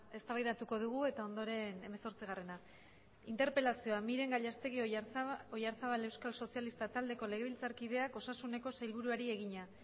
eztabaidatuko dugu eta ondoren hamazortzigarrena interpelazioa miren gallastegui oyarzábal euskal sozialistak taldeko legebiltzarkideak osasuneko sailburuari egina